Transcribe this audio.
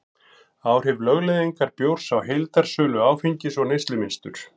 Áhrif lögleiðingar bjórs á heildarsölu áfengis og neyslumynstur